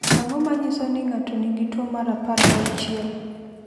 Ang’o ma nyiso ni ng’ato nigi tuwo mar 16?